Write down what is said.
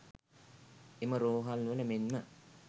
එම රෝහල්වල මෙන්ම